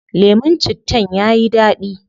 Lemun cittan yayi dadi